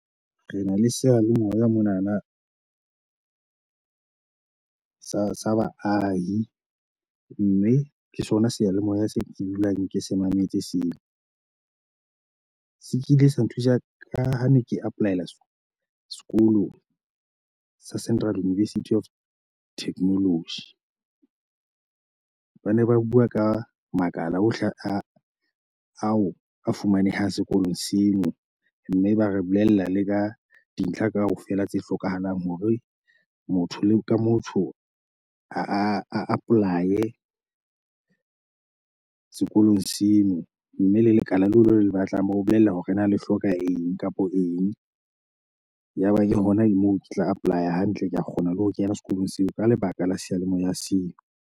Re na le seyalemoya monana sa sa baahi, mme ke sona seyalemoya seo ke dulang ke se mametse seo. Se kile sa nthusa ka ho ne ke apply-ela sekolo sa Central University of Technology. Ba ne ba bua ka makala ohle a ao a fumanehang sekolong seo, mme ba re bolella le ka dintlha kaofela tse hlokahalang hore motho ka motho a a apply-e sekolong seo. Mme le lekala la lona le batlang ba o bolella hore na le hloka eng kapa eng. Yaba ke hona moo ke tla apply-a hantle, ke a kgona le ho kena sekolong seo ka lebaka la seyalemoya seo.